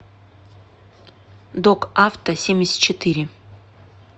док автосемьдесятчетыре